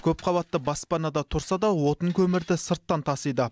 көпқабатты баспанада тұрса да отын көмірді сырттан тасиды